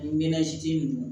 Ɲɛnɛ si nunnu